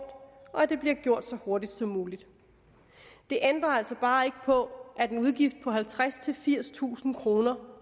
og at det bliver gjort så hurtigt som muligt det ændrer altså bare ikke på at en udgift på halvtredstusind firstusind kroner